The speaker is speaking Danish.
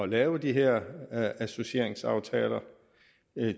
lave de her associeringsaftaler